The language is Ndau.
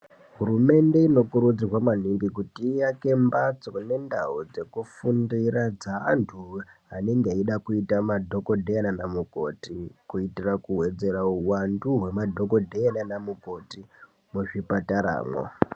Hurumende ino kurudzirwa maningi kuti iaeke mbatso nendau dzekufundira dzeantu anode kuita madhokodheya nanamukoti kuitira kuwedzera huwandu hwema dhokotera nanamukoti muzvipatara mwo.